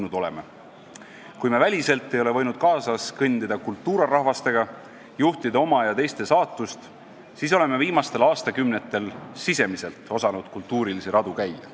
Kui meie väliselt ei ole võinud kaasas kõndida kultura rahvastega, juhtida oma ja teiste saatust, siis oleme viimastel aastakümnetel s i s e m i s e l t osanud kulturalisi radu käia.